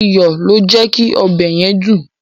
Iyọ̀ ló jẹ́ kí ọbẹ̀ yẹn dùn.